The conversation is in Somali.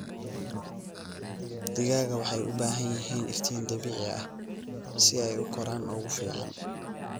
Digaaga waxay u baahan yihiin iftiin dabiici ah si ay u koraan ugu fiican.